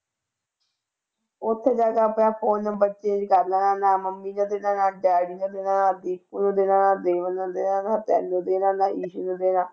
ਉੱਥੇ ਜਾ ਕੇ ਆਪਣਾ phone number change ਕਰ ਲੈਣਾ ਨਾ ਮੰਮੀ ਦਾ ਦੇਣਾ ਨਾ ਡੈਡੀ ਦਾ ਦੇਣਾ, ਦੀਪੂ ਨੂੰ ਦੇਣਾ, ਬੀਬਨ ਨੂੰ ਦੇਣਾ ਨਾ ਤੈਨੂੰ ਦੇਣਾ ਨਾ ਈਸੂ ਨੂੰ ਦੇਣਾ।